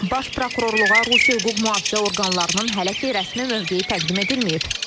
Baş Prokurorluğa Rusiya hüquq-mühafizə orqanlarının hələ ki rəsmi mövqeyi təqdim edilməyib.